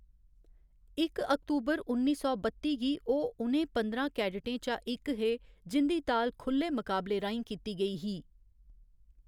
इक अक्तूबर, उन्नी सौ बत्ती गी ओह् उनें पंदरां कैडटें चा इक हे जिं'दी ताल खु'ल्ले मुकाबले राहें कीती गेई ही।